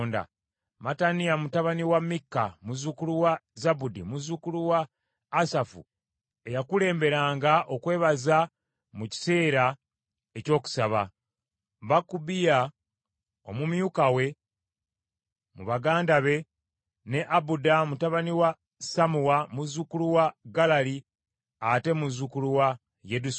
Mattaniya mutabani wa Mikka, muzzukulu wa Zabudi muzzukulu wa Asafu, eyakulemberanga okwebaza mu kiseera eky’okusaba; Bakubukiya omumyuka we mu baganda be; ne Abuda mutabani wa Sammuwa, muzzukulu wa Galali, ate muzzukulu wa Yedusuni.